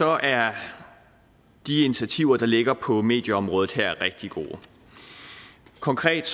er de initiativer der ligger på medieområdet her rigtig gode konkret